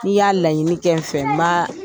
'i y'a laɲini kɛ n fɛ, m'a